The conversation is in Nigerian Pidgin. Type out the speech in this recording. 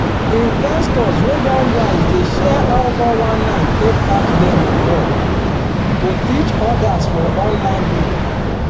investors wey don wise dey share how 419 take catch dem before to teach others for online group.